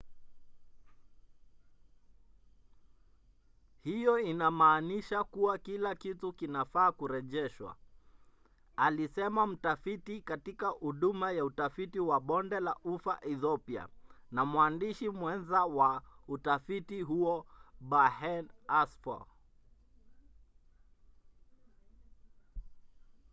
hiyo inammanisha kuwa kila kitu kinafaa kurejeshwa alisema mtafiti katika huduma ya utafiti wa bonde la ufa ethiopia na mwandishi mwenza wa utafiti huo berhane asfaw